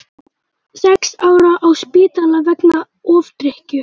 Sex ára á spítala vegna ofdrykkju